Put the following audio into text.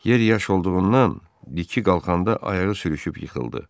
Yer yaş olduğundan tiki qalxanda ayağı sürüşüb yıxıldı.